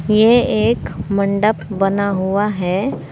यह एक मंडप बना हुआ है।